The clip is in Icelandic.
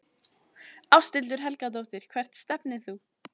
Ásthildur Helgadóttir Hvert stefnir þú?